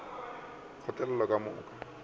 ka go re mohlami wa